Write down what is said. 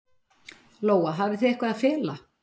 Lóa: Hafið þið eitthvað að fela?